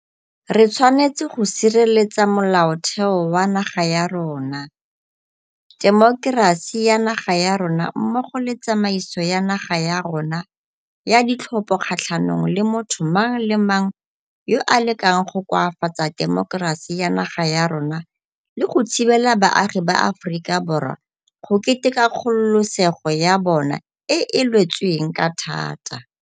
Re tshwanetse go sireletsa Molaotheo wa naga ya rona, temokerasi ya naga ya rona mmogo le tsamaiso ya naga ya rona ya ditlhopho kgatlhanong le motho mang le mang yo a lekang go koafatsa temokerasi ya naga ya rona le go thibela baagi ba Aforika Borwa go keteka kgololesego ya bona e e lwetsweng ka thata.